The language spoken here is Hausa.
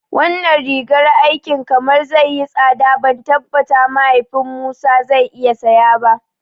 Wannan rigar aikin kamar zai yi tsada ban tabbata mahaifin Musa zai iya saya ba